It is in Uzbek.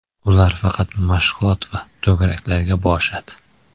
Ular faqat mashg‘ulot va to‘garaklarga borishadi”.